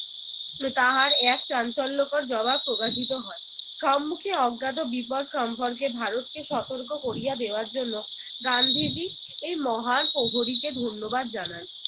তাহার এক চাঞ্চল্যকর জবাব প্রকাশিত হয়। সম্মুখে অজ্ঞাত বিপদ সম্পর্কে ভারতকে সতর্ক করিয়া দেওয়ার জন্য গান্ধীজি এই মহান প্রহরীকে ধন্যবাদ জানান।